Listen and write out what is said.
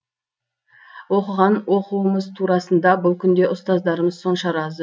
оқыған оқуымыз турасында бұл күнде ұстаздарымыз сонша разы